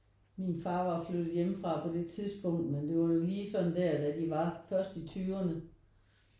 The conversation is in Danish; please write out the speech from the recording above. Min far var flyttet hjemmefra på det tidspunkt men det var lige sådan der da de var først i tyverne